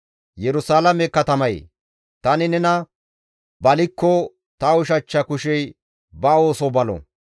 Yerusalaame katamayee! Tani nena balikko ta ushachcha kushey ba ooso balo.